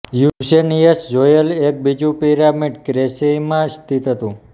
પુસેનિઅસે જોયેલ એક બીજું પિરામિડ કેંચ્રેઈમાં સ્તિત હતું